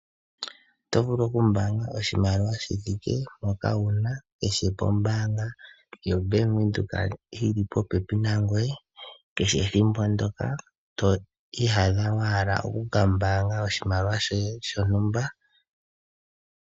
Oto vulu okumbaanga oshimaliwa shithike mpo una kehe mbanga yo Bank Windhoek yilipo popepi nangoye kehe ethimbo ndoka twiiyadha wahala okukambanga oshimaliwa shoye shontumba .